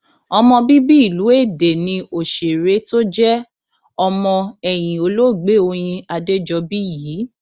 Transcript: ọmọ bíbí ìlú èdè ní òṣèré tó jẹ ọmọ ẹyìn olóògbé oyin adéjọbí yìí